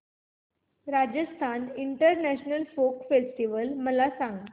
Rajasthan international folk festival मला सांग